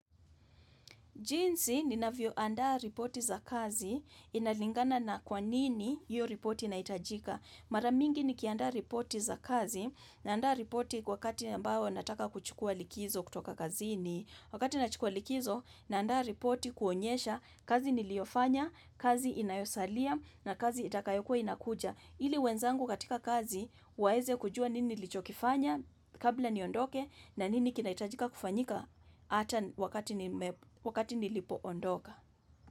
Jinsi ninavyoandaa ripoti za kazi inalingana na kwa nini hiyo ripoti inahitajika. Mara mingi nikiandaa ripoti za kazi naandaa ripoti kwa wakati ambao nataka kuchukua likizo kutoka kazini. Wakati nachukuwa likizo, naandaa repoti kuonyesha kazi niliyofanya, kazi inayosalia na kazi itakayokuwa inakuja. Ili wenzangu katika kazi, waweze kujua nini nilichokifanya kabla niondoke na nini kinahitajika kufanyika hata wakati nilipoondoka.